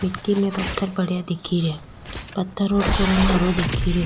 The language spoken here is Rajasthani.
मिट्टी में पत्थर पड़या दिखे रिया पत्थरो को रंग हरो दिखे रियो।